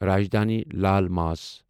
راجدانی لال ماس